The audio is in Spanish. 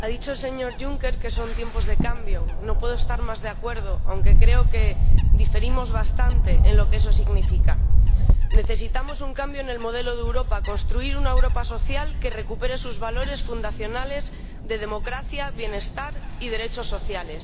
ha dicho el señor Juncker que son tiempos de cambio. No puedo estar más de acuerdo, aunque creo que diferimos bastante en lo que eso significa. Necesitamos un cambio en el modelo de Europa construir una Europa social que recupere sus valores fundacionales de democracia, bienestar y derechos sociales.